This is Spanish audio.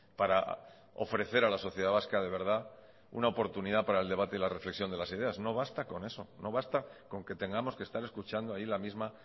para ofrecer a la sociedad vasca de verdad una oportunidad para el debate y la reflexión de las ideas no basta con eso no basta con que tengamos que estar escuchando ahí la misma